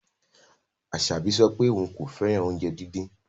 Asabi sọ pe oun ko fẹran ounjẹ didin